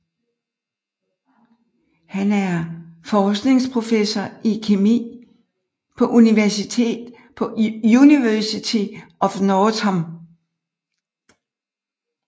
Han er forskningsprofessor i kemi på University of Nottingham